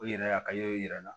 O yɛrɛ a ka y'o yira i la